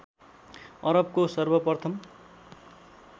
अरबको सर्वप्रथम